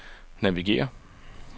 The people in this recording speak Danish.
navigér